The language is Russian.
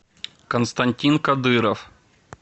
константин кадыров